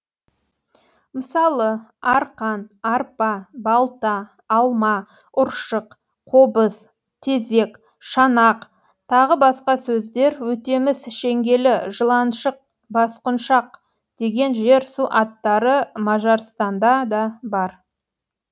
мысалы арқан арпа балта алма ұршық қобыз тезек шанақ т б сөздер өтеміс шеңгелі жыланшық басқұншақ деген жер су аттары мажарстанда да бар